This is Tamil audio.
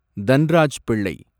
தன்ராஜ் பிள்ளை